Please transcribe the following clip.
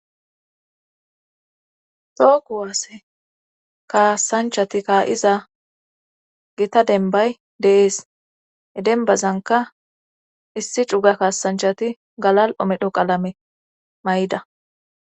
tookuwaase kaasanchati kaa7iza gita denbay deees e denbazanka issi cuga kaasanchati galal omedho qalame may7ida